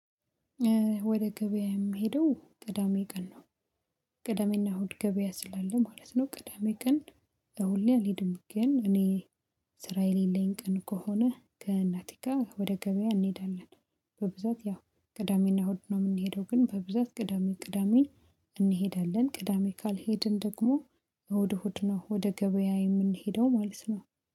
ወደ ገበያ የምሄደው ቅዳሜ ቀን ነው። ቅዳሜና እሁድ ገበያ ስላለ ማለት ነው። ቅዳሜ ቀን ሁሌ አልሄድም። ግን እኔ ስራ የሌለኝ ቀን ከሆነ ከእናቴጋ ወደ ገበያ እንሄዳለን። በብዛት ያው ቅዳሜና እሁድ ነው የምንሄደው ግን በብዛት ቅዳሜ ቅዳሜ። እንሄዳለን ቅዳሜ ካልሄድን ደግሞ እሁድ እሁድነው ወደ ገበያ የምንሄደው ማለት ነው